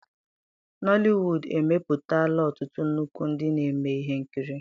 nollywood emepụtala ọtụtụ nnukwu ndị na-eme ihe nkiri.